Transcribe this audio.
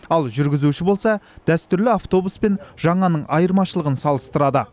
ал жүргізуші болса дәстүрлі автобус пен жаңаның айырмашылығын салыстырады